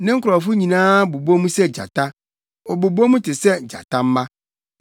Ne nkurɔfo nyinaa bobɔ mu sɛ gyata, wɔbobɔ mu te sɛ gyatamma.